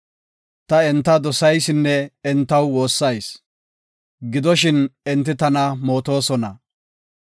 Ta enta dosaysinne entaw woossayis; gidoshin, enti tana mootosona.